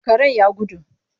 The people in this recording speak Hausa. Karen ya gudu.